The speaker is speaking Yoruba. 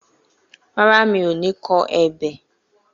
Rárá, mi ò ní kọ ebè